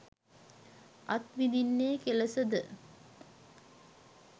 අත්විඳින්නේ කෙලෙස ද?